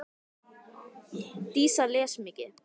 Dísa les mikið.